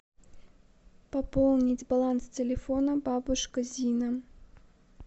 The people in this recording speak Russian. пополнить баланс телефона бабушка зина